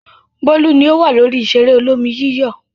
Bólú ni ó wà lórí ìṣeré olómi-yíyọ̀.